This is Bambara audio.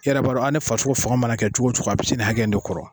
I yɛrɛɛ b'a dɔn aa ne farisogo fanga mana kɛ cogo cogo a bi se nin hakɛ in de kɔrɔ